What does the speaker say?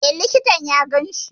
E, likitan ya ganshi.